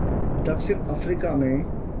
दक्षिण अफ्रीका में